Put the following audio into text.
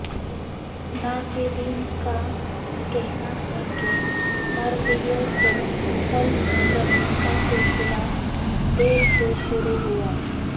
ناقدین کا کہنا ہے کہ مرغیوں کو تلف کرنے کا سلسلہ دیر سے شروع ہوا